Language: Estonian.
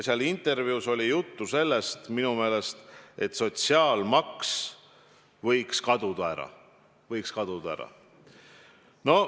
Selles intervjuus oli minu meelest juttu sellest, et sotsiaalmaks võiks ära kaduda.